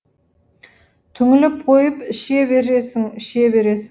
түңіліп қойып іше бересің іше бересің